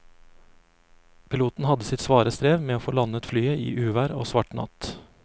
Piloten hadde sitt svare strev med å få landet flyet i uvær og svart natt.